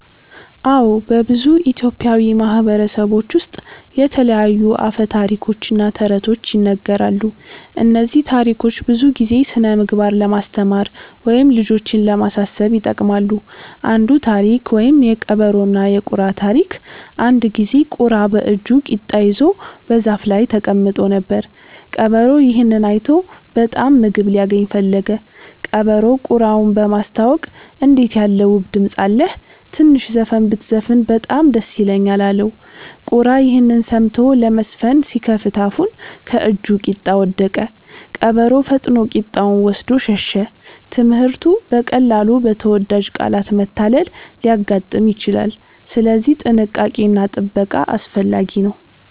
አዎ፣ በብዙ ኢትዮጵያዊ ማህበረሰቦች ውስጥ የተለያዩ አፈ ታሪኮች እና ተረቶች ይነገራሉ። እነዚህ ታሪኮች ብዙ ጊዜ ስነ-ምግባር ለማስተማር ወይም ልጆችን ለማሳሰብ ይጠቅማሉ። አንዱ ታሪክ (የቀበሮና የቁራ ታሪክ) አንድ ጊዜ ቁራ በእጁ ቂጣ ይዞ በዛፍ ላይ ተቀምጦ ነበር። ቀበሮ ይህን አይቶ በጣም ምግብ ሊያገኝ ፈለገ። ቀበሮው ቁራውን በማስታወቅ “እንዴት ያለ ውብ ድምፅ አለህ! ትንሽ ዘፈን ብትዘፍን በጣም ደስ ይለኛል” አለው። ቁራ ይህን ሰምቶ ለመዘፈን ሲከፍት አፉን ከእጁ ቂጣ ወደቀ። ቀበሮ ፈጥኖ ቂጣውን ወስዶ ሸሸ። ትምህርቱ: በቀላሉ በተወዳጅ ቃላት መታለል ሊያጋጥም ይችላል፣ ስለዚህ ጥንቃቄ እና ጥበቃ አስፈላጊ ነው።